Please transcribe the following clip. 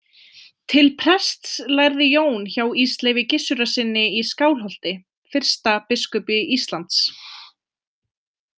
Til prests lærði Jón hjá Ísleifi Gissurarsyni í Skálholti, fyrsta biskupi Íslands.